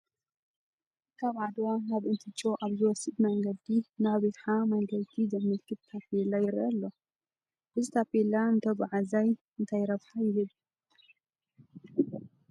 ካብ ዓድዋ ናብ እንትጮ ኣብ ዝወስድ መንገዲ ናብ ይሓ መገንዲ ዘመልክት ታፔላ ይርአ ኣሎ፡፡ እዚ ታፔላ ንተጓዓዛይ እንታይ ረብሓ ይህብ?